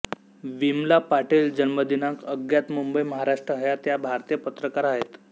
विमला पाटील जन्मदिनांक अज्ञात मुंबई महाराष्ट्र हयात या भारतीय पत्रकार आहेत